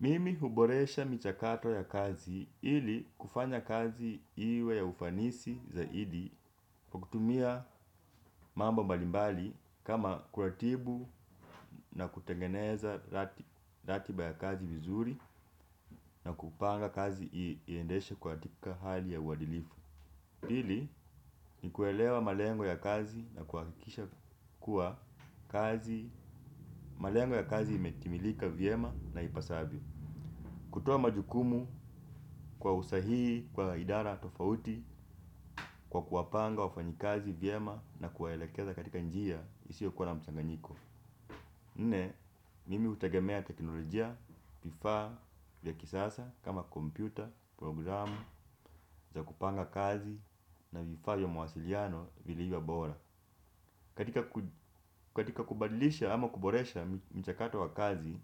Mimi huboresha michakato ya kazi ili kufanya kazi iwe ya ufanisi zaidi kwa kutumia mambo mbalimbali kama kuratibu na kutengeneza ratiba ya kazi vizuri na kupanga kazi iendeshe kwa tika hali ya uadilifu pili ni kuelewa malengo ya kazi na kuhakikisha kuwa malengo ya kazi imetimilika vyema na ipasavyo kutoa majukumu kwa usahihi kwa idara tofauti kwa kuwapanga wafanyikazi vyema na kuwaelekeza katika njia isiyo kua ya mchanganyiko nne mimi hutegemea teknolojia vifaa vya kisasa kama kompyuta programu za kupanga kazi na vifaa vya mawasiliano vilivyo bora katika katika kubadilisha ama kuboresha mchakato wa kazi,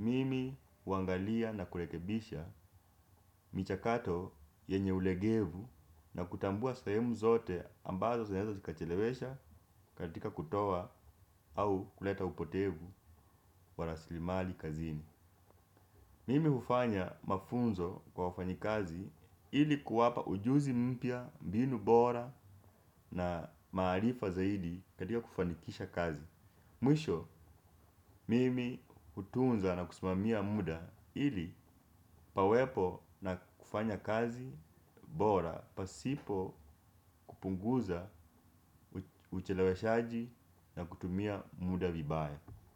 mimi huangalia na kurekebisha michakato yenye ulegevu na kutambua sehemu zote ambazo zinaeza zikachelewesha katika kutoa au kuleta upotevu wa rasilimali kazini. Mimi hufanya mafunzo kwa wafanyi kazi ili kuwapa ujuzi mpya, mbinu bora na maarifa zaidi katika kufanikisha kazi. Mwisho, mimi hutunza na kusimamia muda ili pawepo na kufanya kazi bora pasipo kupunguza ucheleweshaji na kutumia muda vibaya.